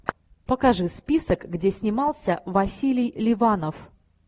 покажи список где снимался василий ливанов